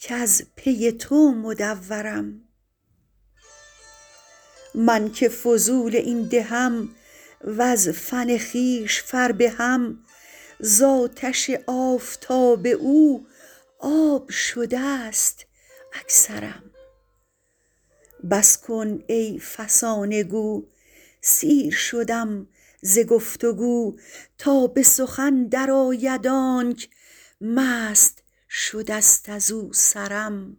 کز پی تو مدورم من که فضول این دهم وز فن خویش فربهم ز آتش آفتاب او آب شده ست اکثرم بس کن ای فسانه گو سیر شدم ز گفت و گو تا به سخن درآید آنک مست شده ست از او سرم